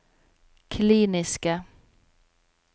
kliniske